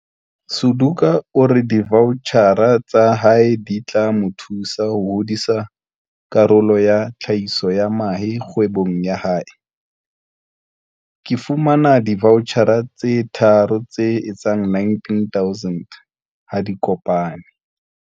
Suduka o re divaotjhara tsa hae di tla mo thusa ho hodisa karolo ya tlhahiso ya mahe kgwebong ya hae. Ke fuwe divaotjhara tse tharo tse etsang R19 000 ha di kopane.